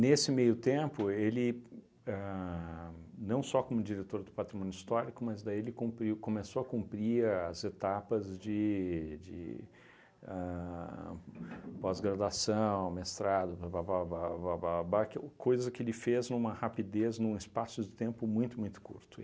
Nesse meio tempo, ele, ahn não só como diretor do Patrimônio Histórico, mas daí ele cumpriu começou a cumprir as etapas de de ahn pós-graduação, mestrado, papapapababá, que o coisa que ele fez numa rapidez, num espaço de tempo muito muito curto.